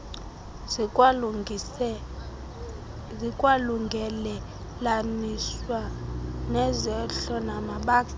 zikwalungelelaniswa nezehlo namabakala